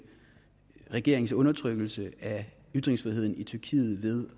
regerings undertrykkelse af ytringsfriheden i tyrkiet ved